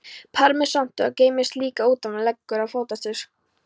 Parmesanostur geymist líka umtalsvert lengur en fetaostur.